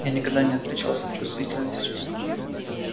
я никогда не отличался чувствительностью